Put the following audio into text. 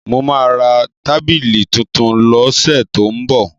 Mo máa ra tábìlì tuntun lọ́sẹ̀ tó ń bọ̀.